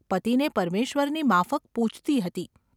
પતિને પરમેશ્વરની માફક પૂજતી હતી.